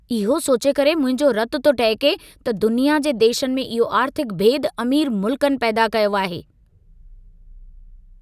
इहो सोचे करे मुंहिंजो रतु थो टहिके, त दुनिया जे देशनि में इहो आर्थिक भेदु अमीर मुल्कनि पैदा कयो आहे।